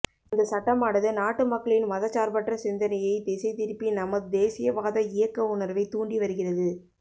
இந்த சட்டமானது நாட்டு மக்களின் மதச்சார்பற்ற சிந்தனையை திசை திருப்பி நமது தேசியவாத இயக்க உணர்வை தூண்டி வருகிறது